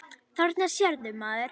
Þarna sérðu, maður.